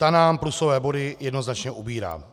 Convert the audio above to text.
Ta nám plusové body jednoznačně ubírá.